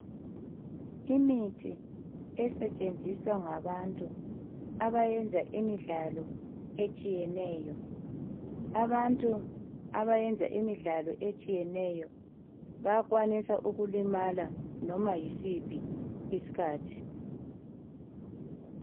Imithi esetshenziswa ngabantu abayenza imidlalo etshiyeneyo. Abantu abayenza imidlalo etshiyeneyo bayakwanisa ukulimala noma yisiphi isikhathi.